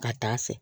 Ka taa fɛ